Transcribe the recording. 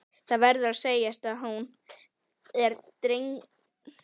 Það verður að segjast að hún er drengilegri íþrótt.